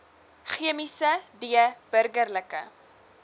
chemiese d burgerlike